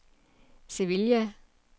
Sevilla